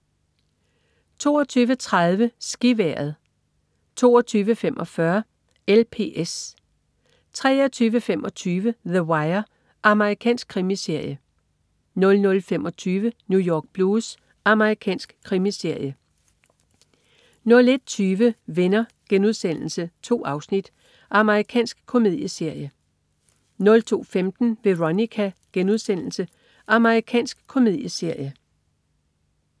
22.30 SkiVejret 22.45 LPS 23.25 The Wire. Amerikansk krimiserie 00.25 New York Blues. Amerikansk krimiserie 01.20 Venner.* 2 afsnit. Amerikansk komedieserie 02.15 Veronica.* Amerikansk komedieserie